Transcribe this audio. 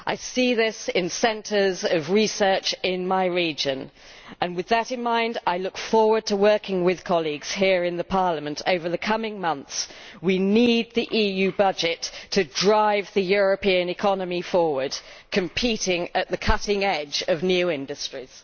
I see this in centres of research in my region, and with that in mind, I look forward to working with colleagues here in Parliament over the coming months. We need the EU budget to drive the European economy forward, competing at the cutting edge of new industries.